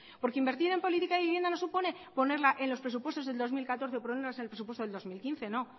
porque invertir en política de vivienda no supone ponerla en los presupuestos de dos mil catorce que ponerlas en los presupuestos de dos mil quince no